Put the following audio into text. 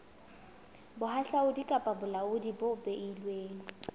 bohahlaudi kapa bolaodi bo beilweng